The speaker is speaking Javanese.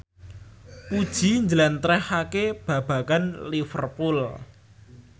Puji njlentrehake babagan Liverpool